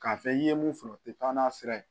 K'a fɛ i ye mun sɔrɔ o tɛ taa n'a sira ye